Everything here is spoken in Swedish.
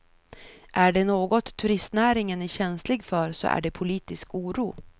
Är det något turistnäringen är känslig för så är det politisk oro.